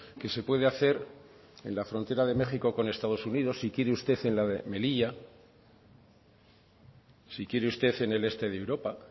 que se puede hacer en la frontera de méxico con estados unidos si quiere usted en la de melilla si quiere usted en el este de europa